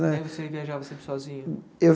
Né Aí você viajava sempre sozinho? Eu